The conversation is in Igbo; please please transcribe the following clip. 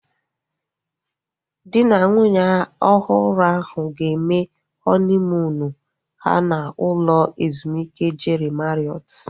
Dị na nwunye ọhụrụ ahu ga-eme họniimuunu ha n'ụlọ ezumike Jeri Mariọt